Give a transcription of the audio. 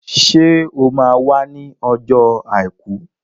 Ṣé o máa wá ní ọjọ́ Àìkú?